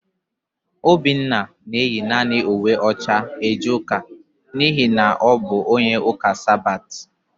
Obinna na-eyi naanị uwe ọcha eje ụka n'ihi na ọ bụ onye ụka Sabat.